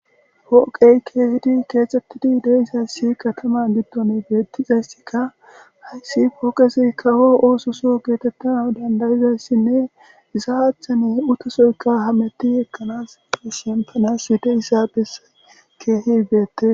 Pooqey keeththetidi dizay katamaza bolla dishin ha pooqezika kawo oososo masatizayssako.